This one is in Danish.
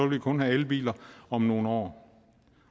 vi kun have elbiler om nogle år